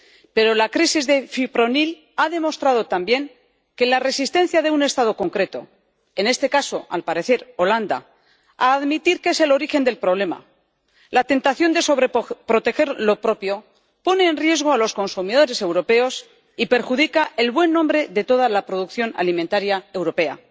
Pero la crisis del fipronil ha demostrado también que la resistencia de un Estado concreto —en este caso, al parecer, Holanda— a admitir que es el origen del problema, la tentación de sobreproteger lo propio pone en riesgo a los consumidores europeos y perjudica el buen nombre de toda la producción alimentaria europea.